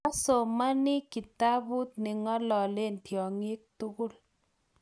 asomani kitabut neng'ololen tyongik tugul